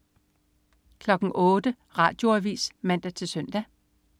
08.00 Radioavis (man-søn)